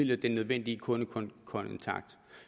den nødvendige kundekontakt